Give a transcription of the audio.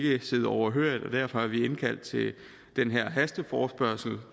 ikke sidde overhørig og derfor har vi indkaldt til den her hasteforespørgsel